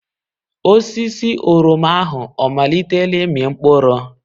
Osisi oroma ahụ ọ amalitela ịmị mkpụrụ?